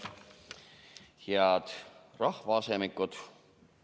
Head rahvaasemikud!